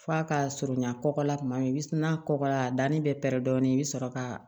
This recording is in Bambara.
F'a ka surunya kɔkɔ la tuma min i bi na kɔkɔ la a danni bɛ pɛrɛn dɔɔnin i bɛ sɔrɔ ka